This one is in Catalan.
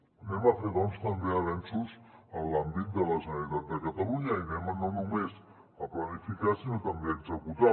fem doncs també avenços en l’àmbit de la generalitat de catalunya i no només planifiquem sinó que també executem